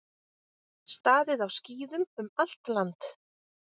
Staðið á skíðum um allt land